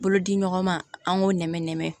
Bolodi ɲɔgɔn ma an k'o nɛmɛ nɛmɛ